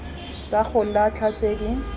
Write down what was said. tsa go latlha tse di